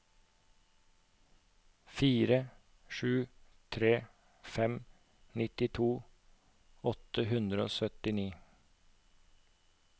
fire sju tre fem nittito åtte hundre og syttini